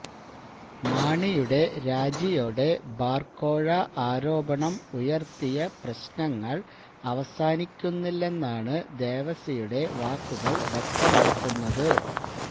മാണിയുടെ രാജിയോടെ ബാര് കോഴ ആരോപണം ഉയര്ത്തിയ പ്രശ്നങ്ങള് അവസാനിക്കുന്നില്ലെന്നാണ് ദേവസിയുടെ വാക്കുകള് വ്യക്തമാക്കുന്നത്